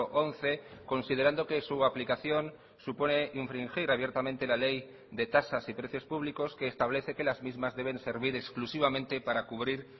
once considerando que su aplicación supone infringir abiertamente la ley de tasas y precios públicos que establece que las mismas deben servir exclusivamente para cubrir